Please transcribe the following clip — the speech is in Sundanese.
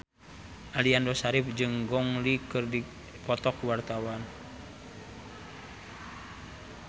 Aliando Syarif jeung Gong Li keur dipoto ku wartawan